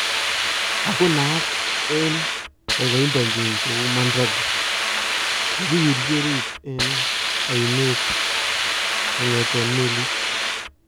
Ako naat en kaikaindanyin kou Mandrake, kikiwirchi oriit en ayneet kong'eten meliit